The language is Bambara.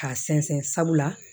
K'a sɛnsɛn sabula